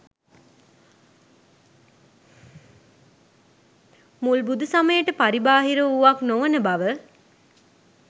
මුල් බුදු සමයට පරිබාහිර වූවක් නොවන බව,